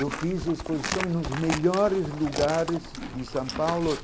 Eu fiz exposições nos melhores lugares de São Paulo.